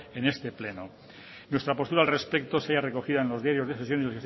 en este pleno nuestra postura al respecto se halla recogida en los diarios de sesiones